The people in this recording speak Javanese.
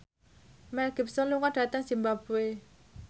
Mel Gibson lunga dhateng zimbabwe